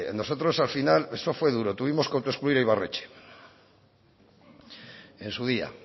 nosotros al final eso fue duro tuvimos que autoexcluir a ibarretxe en su día